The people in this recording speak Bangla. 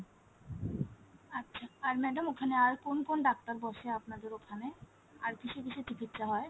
আচ্ছা আর madam ওখানে আর কোন কোন ডাক্তার বসে, আপনাদের ওখানে আর কিসের কিসের চিকিৎসা হয় ?